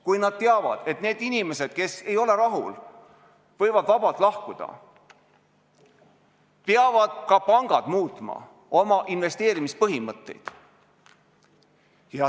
Kui nad teavad, et need inimesed, kes ei ole rahul, võivad vabalt lahkuda, peavad ka pangad muutma oma investeerimispõhimõtteid.